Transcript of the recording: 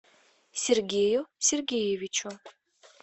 сергею сергеевичу